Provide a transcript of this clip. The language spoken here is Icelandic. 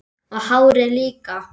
Og hárið líka!